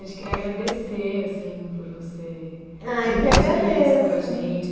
A gente queria agradecer assim por você dividir isso com a gente.